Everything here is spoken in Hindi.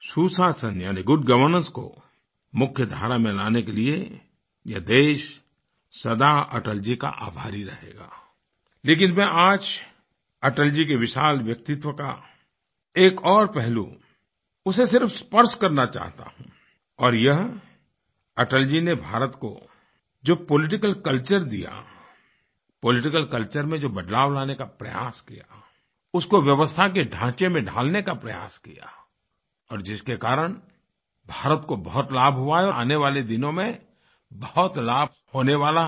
सुशासन यानी गुड गवर्नेंस को मुख्य धारा में लाने के लिए यह देश सदा अटल जी का आभारी रहेगा लेकिन मैं आज अटल जी के विशाल व्यक्तित्व का एक और पहलू उसे सिर्फ स्पर्श करना चाहता हूँ और यह अटल जी ने भारत को जो पॉलिटिकल कल्चर दियापॉलिटिकल कल्चर में जो बदलाव लाने का प्रयास किया उसको व्यवस्था के ढांचे में ढालने का प्रयास किया और जिसके कारण भारत को बहुत लाभ हुआ हैं और आगे आने वाले दिनों में बहुत लाभ होने वाला है